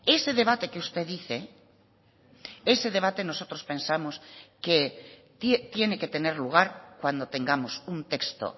ese debate que usted dice ese debate nosotros pensamos que tiene que tener lugar cuando tengamos un texto